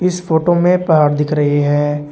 इस फोटो में पहाड़ दिख रही है।